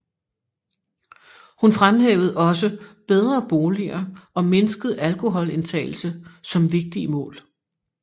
Hun fremhævede også bedre boliger og mindsket alkoholindtagelse som vigtige mål